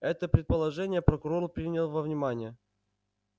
это предположение прокурор принял во внимание